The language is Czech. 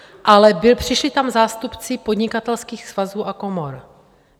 Ale přišli tam zástupci Podnikatelských svazů a komor.